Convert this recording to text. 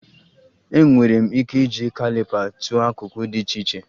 Enwere m ike iji caliper tụọ akụkụ dị iche iche